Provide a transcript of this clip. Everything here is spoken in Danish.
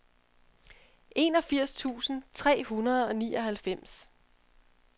enogfirs tusind tre hundrede og nioghalvfems